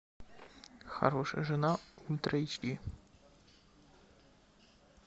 хорошая жена ультра эйч ди